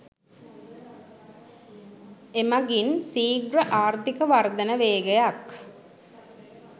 එමගින් සීග්‍ර ආර්ථික වර්ධන වේගයක්